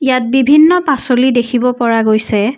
ইয়াত বিভিন্ন পাচলি দেখিব পৰা গৈছে।